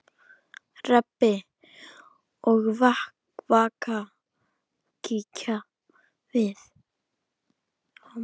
Rebbi og Vaka kíkja við.